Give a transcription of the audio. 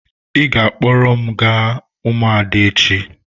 Ị ga-akpọrọ m gaa ụmụada echi.